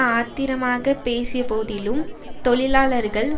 ஆத்திரமாக பேசியபோதிலும் தொழிலாளர்கள்